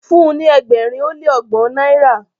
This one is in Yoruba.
fún ní ẹgbẹrin o le ọgbọn náírà